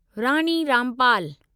Rani Rampal